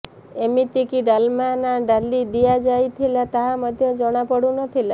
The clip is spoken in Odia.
ଏମିତିକି ଡାଲମା ନା ଡାଲି ଦିଆଯାଇଥିଲା ତାହା ମଧ୍ୟ ଜଣାପଡୁ ନଥିଲା